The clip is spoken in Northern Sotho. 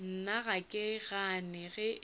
nna ga ke gane ge